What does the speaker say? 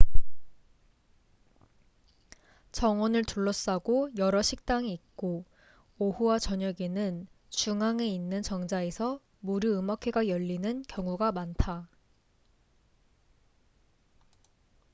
정원을 둘러싸고 여러 식당이 있고 오후와 저녁에는 중앙에 있는 정자에서 무료 음악회가 열리는 경우가 많다